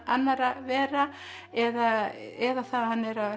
annarra vera eða eða það að hann